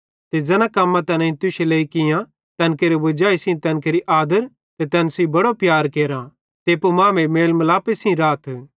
ते ज़ैना कम्मां तैनेईं तुश्शे लेइ कियां तैन केरे वजाई सेइं तैन केरि आदर ते तैन सेइं बड़ो प्यार केरा ते एप्पू मांमेइं मेल मालपे सेइं राथ